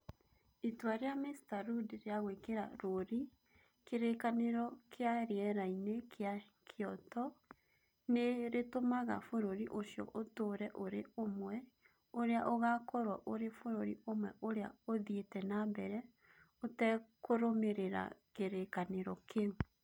Itua rĩa Mr. Rudd rĩa gwĩkĩra rũũri kĩrĩkanĩro kĩa rĩera-inĩ kĩa Kyoto nĩ rĩtũmaga bũrũri ũcio ũtũũre ũrĩ ũmwe, ũrĩa ũgakorũo ũrĩ bũrũri ũmwe ũrĩa ũthiĩte na mbere ũtekũrũmĩrĩra kĩrĩkanĩro kĩu.